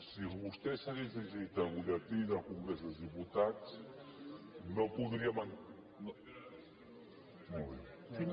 si vostè s’hagués llegit el butlletí del congrés dels diputats no podríem